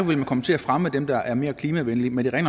vil man komme til at fremme dem der er mere klimavenlige men det er